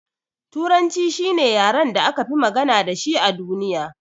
Turanci shine yaren da akafi magana dashi a duniya.